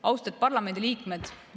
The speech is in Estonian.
Austatud parlamendi liikmed!